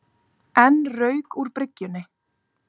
Enn rauk úr bryggjunni